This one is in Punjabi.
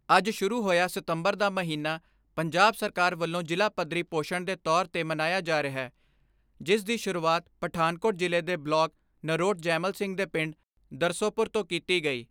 ਅੱਜ ਸ਼ੁਰੂ ਹੋਇਆ ਸਿਤੰਬਰ ਦਾ ਮਹੀਨਾ ਪੰਜਾਬ ਸਰਕਾਰ ਵੱਲੋਂ ਜਿਲ੍ਹਾ ਪੱਧਰੀ ਪੋਸ਼ਣ ਦੇ ਤੌਰ ਤੇ ਮਨਾਇਆ ਜਾ ਰਿਹੈ ਜਿਸ ਦੀ ਸ਼ੁਰੂਆਤ ਪਠਾਨਕੋਟ ਜਿਲ੍ਹੇ ਦੇ ਬਲਾਕ ਨਰੋਟ ਜੈਮਲ ਸਿੰਘ ਦੇ ਪਿੰਡ ਦਰਸੋਪੁਰ ਤੋਂ ਕੀਤੀ ਗਈ।